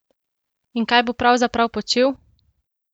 In kaj bo pravzaprav počel?